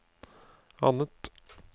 annet